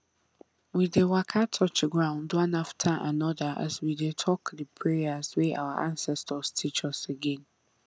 we dey waka touch ground one after another as we dey talk the prayers wey our ancestors teach us again